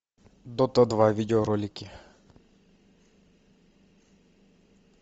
дота два видеоролики